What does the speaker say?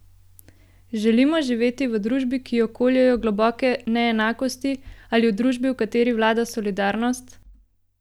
Želimo živeti v družbi, ki jo koljejo globoke neenakosti, ali v družbi, v kateri vlada solidarnost?